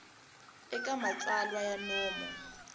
eka matsalwa ya nomo xik